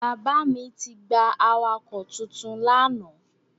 Bàbá mi ti gba awakọ̀ titun lánàá.